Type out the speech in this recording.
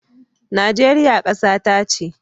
Najeriya kasata ce.